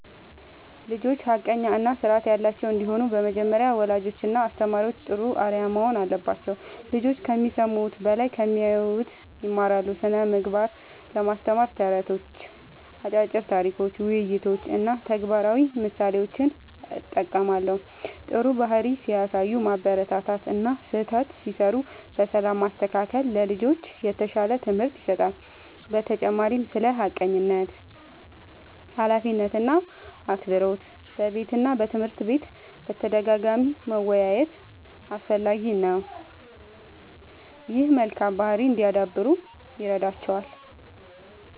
ልጆች ሐቀኛ እና ስርዓት ያላቸው እንዲሆኑ በመጀመሪያ ወላጆችና አስተማሪዎች ጥሩ አርአያ መሆን አለባቸው። ልጆች ከሚሰሙት በላይ ከሚያዩት ይማራሉ። ስነ ምግባርን ለማስተማር ተረቶች፣ አጫጭር ታሪኮች፣ ውይይቶች እና ተግባራዊ ምሳሌዎችን እጠቀማለሁ። ጥሩ ባህሪ ሲያሳዩ ማበረታታት እና ስህተት ሲሠሩ በሰላም ማስተካከል ለልጆች የተሻለ ትምህርት ይሰጣል። በተጨማሪም ስለ ሐቀኝነት፣ ኃላፊነት እና አክብሮት በቤትና በትምህርት ቤት በተደጋጋሚ መወያየት አስፈላጊ ነው። ይህም መልካም ባህሪ እንዲያዳብሩ ይረዳቸዋል።